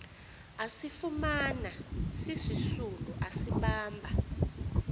asifumana sisisulu asibamba